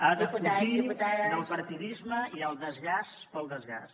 a defugir del partidisme i el desgast pel desgast